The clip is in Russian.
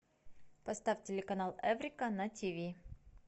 поставь телеканал эврика на тв